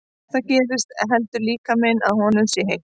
Ef það gerist heldur líkaminn að honum sé heitt.